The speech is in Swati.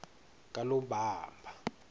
kalobamba